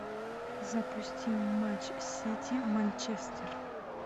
запусти матч сити манчестер